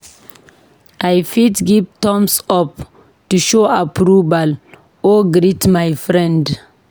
I fit give thumbs up to show approval or greet my friend.